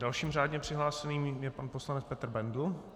Dalším řádně přihlášeným je pan poslanec Petr Bendl.